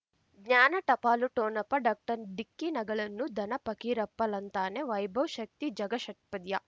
ಜ್ಞಾನ ಟಪಾಲು ಠೊಣಪ ಡಾಕ್ಟರ್ ಢಿಕ್ಕಿ ಣಗಳನು ಧನ ಫಕೀರಪ್ಪ ಳಂತಾನೆ ವೈಭವ್ ಶಕ್ತಿ ಝಗಾ ಷಟ್ಪದಿಯ